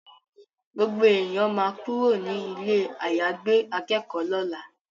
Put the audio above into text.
Gbogbo èèyàn ma kúrò ní ilé àyàgbé akẹ́kọ̀ọ́ lọ́la